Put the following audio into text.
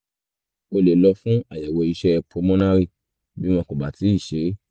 o lè lọ fún àyẹ̀wò iṣẹ́ pulmonary bí wọn kò bá tíì ṣe é